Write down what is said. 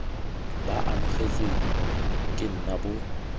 bo amogetswe ke nna bo